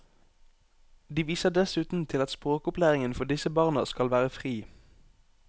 De viser dessuten til at språkopplæringen for disse barna skal være fri.